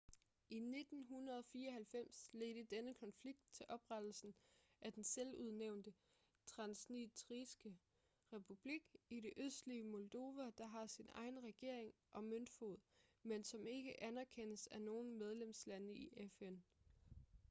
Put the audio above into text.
i 1994 ledte denne konflikt til oprettelsen af den selvudnævnte transnistriske republik i det østlige moldova der har sin egen regering og møntfod men som ikke anerkendes af nogen medlemslande i fn